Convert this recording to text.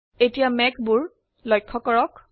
এতিয়া মেঘবোৰ লক্ষয় কৰক